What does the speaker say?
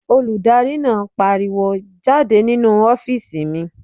Olùdarí náà pariwo "jáde nínu ọ́fìsì mi!"